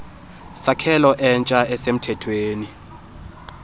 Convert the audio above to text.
sakhelo entsha esemthethweni